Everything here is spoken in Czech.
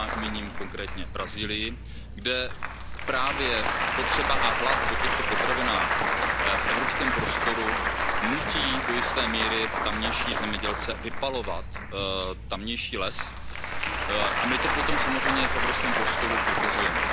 míním konkrétně Brazílii, kde právě spotřeba a hlad po těchto potravinách v evropském prostoru nutí do jisté míry tamější zemědělce vypalovat les a my to potom samozřejmě v evropském prostoru kritizujeme.